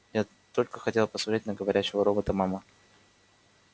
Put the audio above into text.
я только хотела посмотреть на говорящего робота мама